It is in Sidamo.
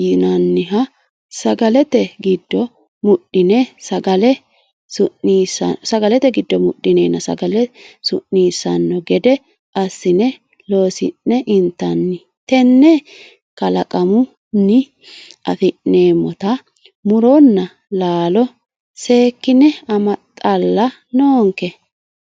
yinanniha sagalete giddo mudhine sagale su'nisanno gede assine loosi'ne intanni tene kalaqamunni affi'neemmotta muronna laalo seekkine amaxalla noonke.